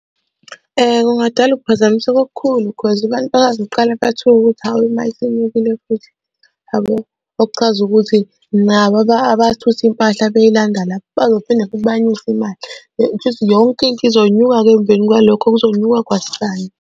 Kungadala ukuphazamiseka okukhulu cause abantu bazoqala bathuke ukuthi hawe ma isinyukile futhi, yabo okuchaza ukuthi nabo abathutha impahla beyilanda lapho bazophinde futhi banyuse imali. Kushukuthi yonke into izonyuka-ke emveni kwalokho kuzonyuka kwasani.